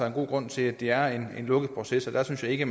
en god grund til at det er en lukket proces og der synes jeg ikke at